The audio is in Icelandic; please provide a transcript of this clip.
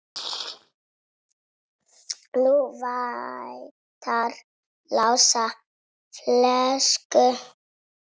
Nú vantar Lása flösku.